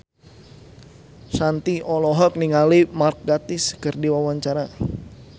Shanti olohok ningali Mark Gatiss keur diwawancara